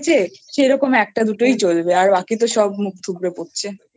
সেরকম একটা দুটোই চলবে আর বাকি তো সব মুখ থুবড়ে পড়ছে।